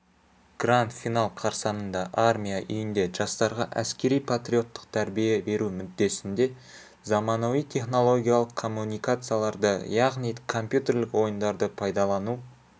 гранд-финал қарсаңында армия үйінде жастарға әскери-патриоттық тәрбие беру мүддесінде заманауи технологиялық коммуникацияларды яғни компьютерлік ойындарды пайдалану